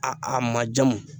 A a ma jamu